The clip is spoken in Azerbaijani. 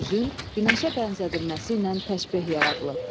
üzün günəşə bənzədilməsi ilə təşbeh yaradılıb.